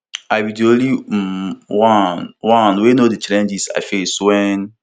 i be di only um one one wey know di challenges i face wen